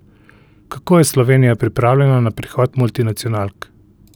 Kako je Slovenija pripravljena na prihod multinacionalk?